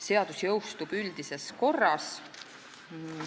Seadus jõustub üldises korras.